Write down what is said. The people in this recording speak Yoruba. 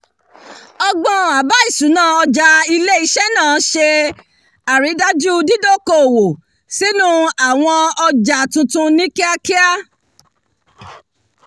ọgbọ́n àbá ìṣúná ọjà ilé-iṣẹ́ náà ṣe àrídájú dídókòwò sínú àwọn ọjà tuntun ní kíakíá